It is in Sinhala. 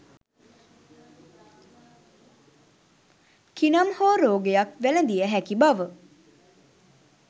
කිනම් හෝ රෝගයක් වැළදිය හැකි බව